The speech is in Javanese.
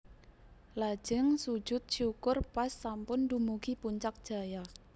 Lajeng sujud syukur pas sampun dumugi Puncak Jaya